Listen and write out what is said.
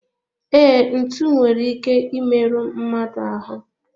Ee, ntụ nwere ike I meru mmadụ ahu